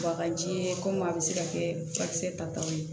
Bagaji ye komi a bɛ se ka kɛ furakisɛ tataw ye